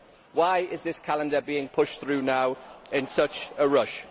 Why is this calendar being pushed through now in such a rush?